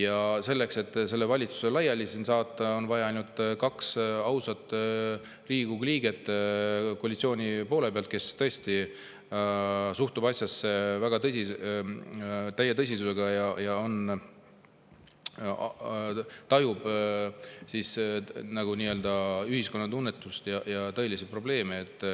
Aga selleks, et see valitsus Riigikogus laiali saata, on vaja kaht ausat Riigikogu liiget koalitsioonist, kes tõesti suhtuvad asjasse täie tõsidusega ja tajuvad ühiskonna tunnetust ja tõelisi probleeme.